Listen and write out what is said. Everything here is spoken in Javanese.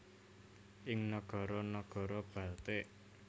ing nagara nagara Baltik